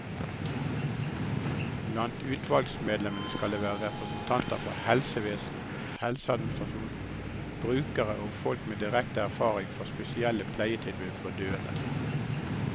Blant utvalgsmedlemmene skal det være representanter fra helsevesen, helseadministrasjon, brukere og folk med direkte erfaring fra spesielle pleietilbud for døende.